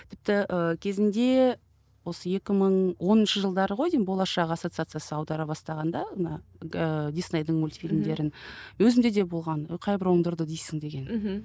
тіпті ы кезінде осы екі мың оныншы жылдары ғой деймін болашақ ассоциациясы аудара бастағанда ана ыыы диснейдің мульфильмдерін өзімде де болған қай бір оңдырды дейсің деген мхм